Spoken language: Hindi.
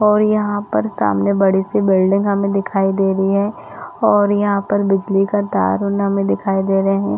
और यहाँ पर सामने बड़ी -सी बिल्डिंग हमें दिखाई दे रही है और यहाँ पर बिजली का तार हमें दिखाई दे रहे है।